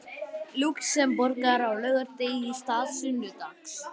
Lúxemborgar á laugardegi í stað sunnudags.